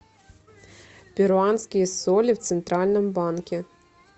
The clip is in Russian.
перуанские соли в центральном банке